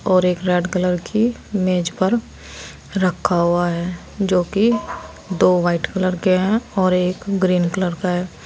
और एक red colour की मेज पर रखा हुआ है जो कि दो व्हाइट कलर के हैं और एक ग्रीन कलर का है।